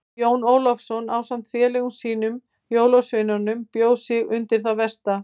Jón Ólafur ásamt félögum sínum jólasveinunum bjó sig undir það versta.